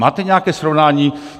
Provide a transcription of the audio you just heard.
Máte nějaké srovnání?